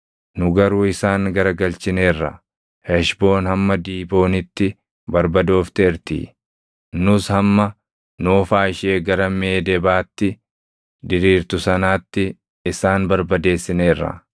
“Nu garuu isaan garagalchineerra; Heshboon hamma Diiboonitti barbadoofteerti. Nus hamma Noofaa ishee gara Meedebaatti diriirtu sanaatti isaan barbadeessineerra.”